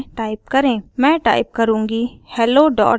मैं टाइप करुँगी hellorb